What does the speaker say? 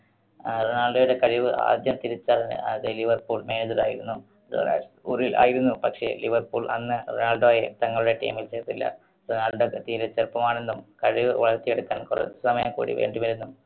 ആഹ് റൊണാൾഡോയുടെ കഴിവ് ആദ്യം തിരിച്ചറിഞ്ഞ അന്നത്തെ ലിവർപൂൾ manager ആയിരുന്ന ആയിരുന്നു. പക്ഷേ ലിവർപൂൾ അന്ന് റൊണാൾഡോയെ തങ്ങളുടെ team ൽ ചേർത്തില്ല. റൊണാൾഡോക്ക് തീരേ ചെറുപ്പമാണെന്നും കഴിവ് വളർത്തിയെടുക്കാൻ കുറച്ച് സമയം കൂടി വേണ്ടിവരുമെന്നും